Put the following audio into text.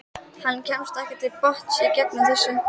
Hann kemst ekki til botns í þessu.